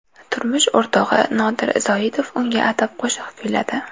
Turmush o‘rtog‘i Nodir Zoitov unga atab qo‘shiq kuyladi.